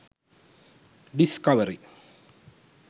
discovery